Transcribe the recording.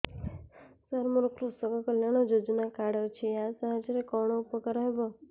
ସାର ମୋର କୃଷକ କଲ୍ୟାଣ ଯୋଜନା କାର୍ଡ ଅଛି ୟା ସାହାଯ୍ୟ ରେ କଣ ଉପକାର ହେବ